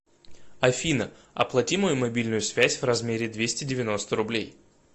афина оплати мою мобильную связь в размере двести девяносто рублей